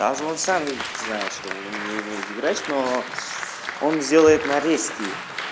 даже он сам видит знает что он не умеет играть но он сделает нарезки